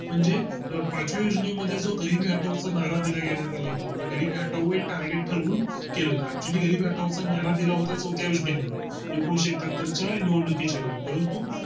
म्हणजे पाच महिन्यां मध्ये जो घरी पाठवता नारा दिला घेण्यात आला होता म्हणजे घरी हटवून जो Target ठरवून केला होता Actually गरिबी हटवताना जी नारा दिला होता तो त्या योजने मध्ये येऊ एकनिशे एक्काहत्तर च्या निवडणुकी च्यावेळी